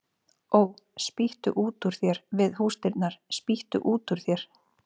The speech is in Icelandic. Ó, spýttu út úr þér við húsdyrnar, spýttu út úr þér